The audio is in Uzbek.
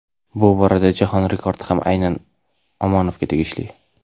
bu borada jahon rekordi ham aynan Omonovga tegishli.